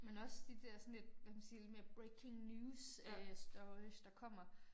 Men også de dér sådan lidt hvad kan man sige lidt mere breaking news øh stories der kommer